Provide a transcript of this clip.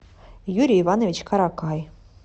юрий иванович каракай